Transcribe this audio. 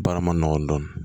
Baara ma nɔgɔn dɔɔnin